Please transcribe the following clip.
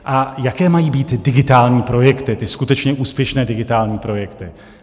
A jaké mají být digitální projekty, ty skutečně úspěšné digitální projekty?